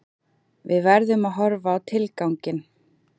Við verðum að horfa á tilganginn